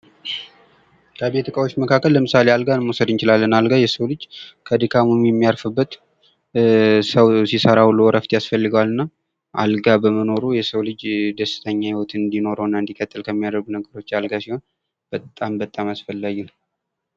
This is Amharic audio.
ከቤት ዕቃዎች መካከል አልጋን መውሰድ እንችላለን ።አልጋ የሰው ልጅ ከድካሙ የሚያርፍበት ሰው ሲሰራ ውሎ እረፍት ያስፈልገዋል እና አልጋ በመኖሩ የሰው ልጅ ደስተኛ ህይወት እንዲኖረው እና እንዲቀጥል ከሚያደርጉ ነገሮች አልጋ ሲሆን በጣም በጣም አስፈላጊ ነው።